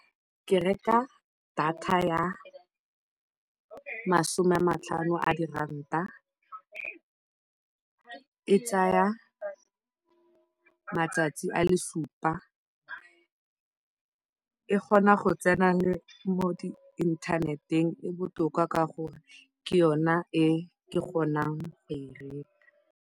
Ke reka data ya masome a matlhano a diranta, e tsaya matsatsi a le supa. E kgona go tsena mo di-internet-eng, e botoka ka gore ke yona e ke kgonang go e reka.